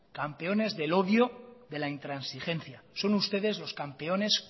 campeones del odio de la intransigencia son ustedes los campeones